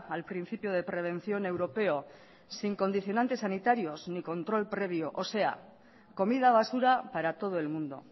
al principio de prevención europeo sin condicionantes sanitarios ni control previo o sea comida basura para todo el mundo